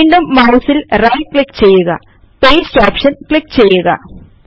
വീണ്ടും മൌസിൽ right click ചെയ്യുക പാസ്തെ ഓപ്ഷൻ ക്ലിക്ക് ചെയ്യുക